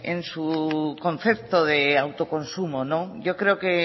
en su concepto de autoconsumo yo creo que